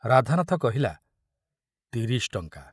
ରାଧାନାଥ କହିଲା, ତିରିଶ ଟଙ୍କା।